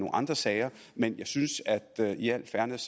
andre sager men jeg synes i al fairness